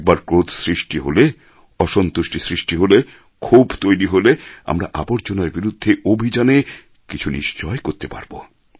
একবার ক্রোধ সৃষ্টি হলে অসন্তুষ্টি সৃষ্টি হলে ক্ষোভ তৈরি হলে আমরা আবর্জনার বিরুদ্ধে অভিযানে কিছু নিশ্চয় করতে পারবো